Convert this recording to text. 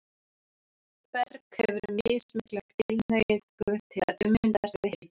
Berg hefur mismikla tilhneigingu til að ummyndast við hita.